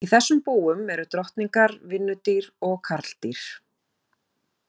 Í þessum búum eru drottningar, vinnudýr og karldýr.